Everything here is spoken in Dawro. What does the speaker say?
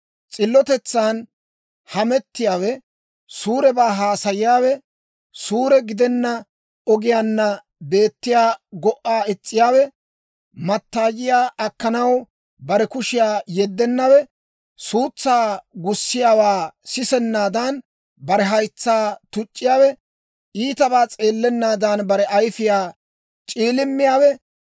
S'illotetsan hamettiyaawe, suurebaa haasayiyaawe, suure gidenna ogiyaanna beettiyaa go"aa is's'iyaawe, mattaayiyaa akkanaw bare kushiyaa yeddennawe, suutsaa gussiyaawaa sisennaadan, bare haytsaa tuc'c'iyaawe, iitabaa s'eellennaadan, bare ayfiyaa c'iilimmiyaawe,